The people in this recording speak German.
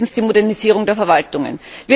Fünftens Die Modernisierung der Verwaltungen.